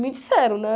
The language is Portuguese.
Me disseram, né?